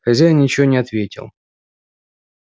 хозяин ничего не ответил